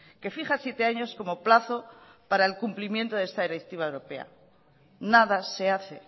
que fija siete años como plazo para el cumplimiento de esta directiva europea nada se hace